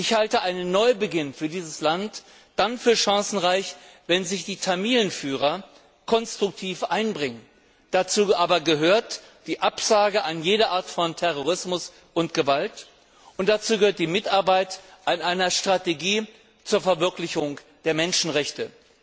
Ich halte einen Neubeginn für dieses Land dann für chancenreich, wenn sich die Tamilenführer konstruktiv einbringen. Dazu gehört aber die Absage an jede Art von Terrorismus und Gewalt, und dazu gehört die Mitarbeit an einer Strategie zur Verwirklichung der Menschenrechte.